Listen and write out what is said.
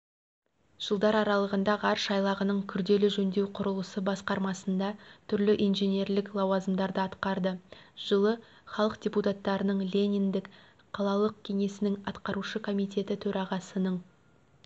жылдар аралығында ғарыш айлағының күрделі жөндеу құрылысы басқармасында түрлі инженерлік лауазымдарды атқарды жылы халық депутаттарының лениндік қалалық кеңесінің атқарушы комитеті төрағасының